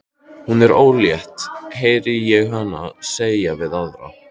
Hún er ólétt, heyri ég hana segja við aðra.